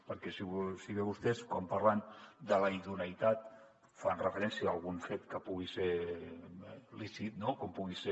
perquè si bé vostès quan parlen de la idoneïtat fan referència a algun fet que pugui ser lícit com pugui ser